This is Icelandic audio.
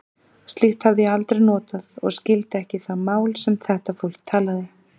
Slíkt hafði ég aldrei notað og skildi ekki það mál, sem þetta fólk talaði.